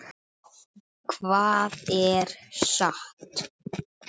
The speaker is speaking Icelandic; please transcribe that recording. Hvað er satt?